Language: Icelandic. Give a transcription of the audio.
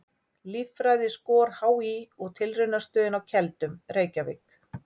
Líffræðiskor HÍ og Tilraunastöðin á Keldum, Reykjavík.